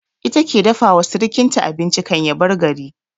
Ita ke dafa wa sirkinta abinci kan ya bar gari